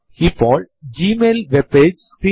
ഇത് ഡിസംബർ 2070 ന്റെ കലണ്ടർ നമുക്ക് തരുന്നു